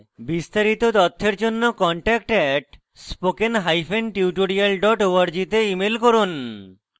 বিস্তারিত তথ্যের জন্য contact @spokentutorial org তে ইমেল করুন